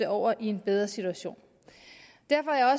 over i en bedre situation derfor er